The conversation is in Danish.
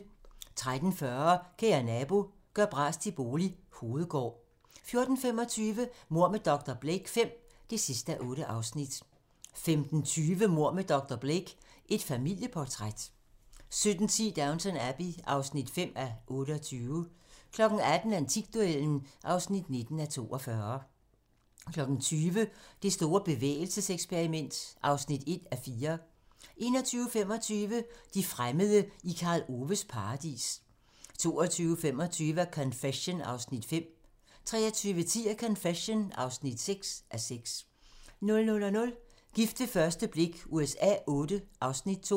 13:40: Kære nabo - gør bras til bolig - Hovedgård 14:25: Mord med dr. Blake V (8:8) 15:20: Mord med dr. Blake: Et familieportræt 17:10: Downton Abbey (5:28) 18:00: Antikduellen (19:42) 20:00: Det store bevægelseseksperiment (1:4) 21:25: De fremmede i Karl Oves Paradis 22:25: A Confession (5:6) 23:10: A Confession (6:6) 00:00: Gift ved første blik USA Vlll (Afs. 2)